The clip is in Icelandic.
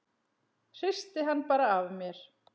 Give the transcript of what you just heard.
Hristi hann bara af mér.